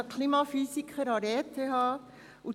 Er ist Klimaphysiker und lehrt an der ETH.